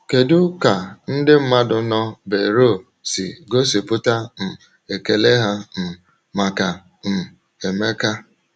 Kedu ka ndị mmadụ nọ Beroea si gosipụta um ekele ha um maka um Emeka?